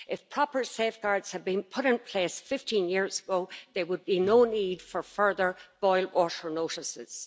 If proper safeguards had been put in place 15 years ago, there would be no need for further boil water notices.